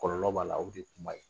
Kɔlɔlɔ b'a la o de ye kuma ye